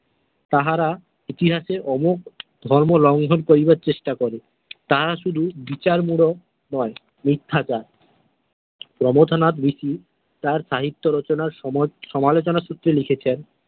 তাহারা ইতিহাসে অমুক ধর্ম লঙ্ঘ করিবার চেষ্টা করে তাঁহার শুধু বিছার মূলক নয় মিথ্যাচার প্রমথনাথ ঋষি তাঁর সাহিত্য রচনার সমালোচনা সূত্রে লিখেছেন।